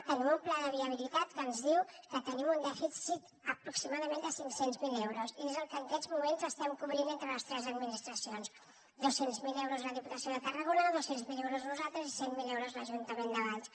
tenim un pla de viabilitat que ens diu que tenim un dèficit aproximadament de cinc cents miler euros i és el que en aquests moments estem cobrint entre les tres administracions dos cents miler euros la diputació de tarragona dos cents miler euros nosaltres i cent miler euros l’ajuntament de valls